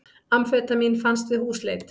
Amfetamín fannst við húsleit